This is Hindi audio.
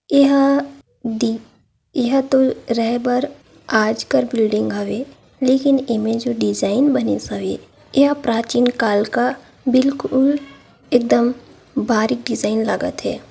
यह डी ह- येहा रहेबर आजकर बिल्डिंग हावै लेकिन एँमें जो डिज़ाइन बने येहा प्राचीन काल का बिलकुल एकदम बारिक दीजाईन लगत ह।